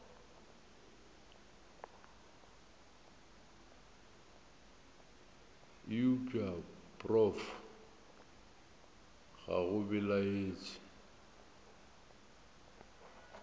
eupša prof ga go belaetše